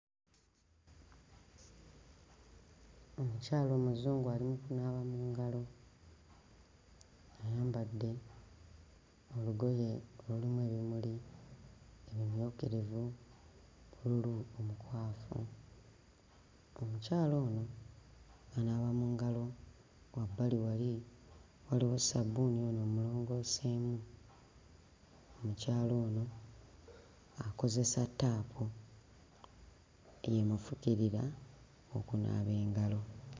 Omukyala Omuzungu ali mu kunaaba mu ngalo, ayambadde olugoye olulimu ebimuli ebimyukirivu ne bbululu omukwafu. Omukyala ono anaaba mu ngalo, wabbali wali waliwo sabbuuni ono omulongooseemu. Omukyala ono akozesa ttaapu, y'emufukirira okunaaba engalo.